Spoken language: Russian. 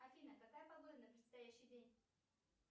афина какая погода на предстоящий день